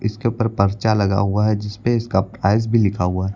इसके ऊपर पर्चा लगा हुआ है जिसपे इसका प्राइस भी लिखा हुआ है।